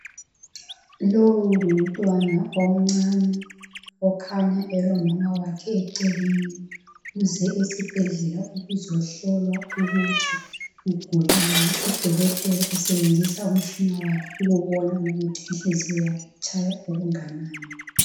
Lowu umntwana omcane okhanya elomama wakhe eceleni, uze esibhedlela ukuzohlolwa ukuthi ugulani. Udokotela usebenzisa umtshina wakhe ukubona ukuthi inhliziyo yakhe itshaya okunganani.